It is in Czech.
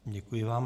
Děkuji vám.